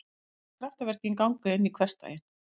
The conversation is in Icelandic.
Kraftaverkin ganga inn í hversdaginn.